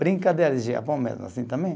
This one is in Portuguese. Brincadeira de Japão mesmo, assim também.